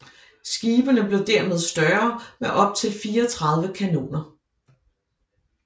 Skibene blev dermed større med optil 34 kanoner